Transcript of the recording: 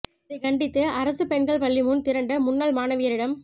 இதை கண்டித்து அரசு பெண்கள் பள்ளி முன் திரண்ட முன்னாள் மாணவியரிடம்